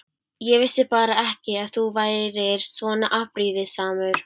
Ég vissi bara ekki að þú værir svona afbrýðisamur.